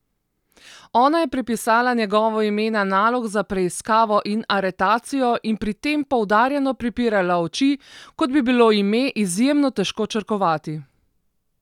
Ona je prepisala njegovo ime na nalog za preiskavo in aretacijo in pri tem poudarjeno pripirala oči, kot bi bilo ime izjemno težko črkovati.